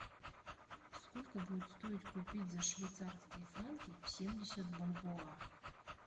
сколько будет стоить купить за швейцарские франки семьдесят бальбоа